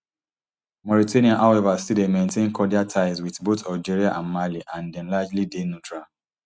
mauritania however still dey maintain cordial ties wit both algeria and mali and dem largely dey neutral